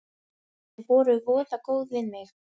Þau voru voða góð við mig.